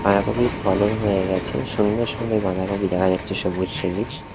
বাঁধাকপির ফলন হয়ে গেছে সুন্দর সুন্দর বাঁধাকপি দেখা যাচ্ছে সবুজ সবুজ।